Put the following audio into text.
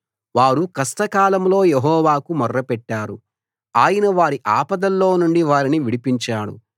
వారు కష్టకాలంలో యెహోవాకు మొర్రపెట్టారు ఆయన వారి ఆపదల్లో నుండి వారిని విడిపించాడు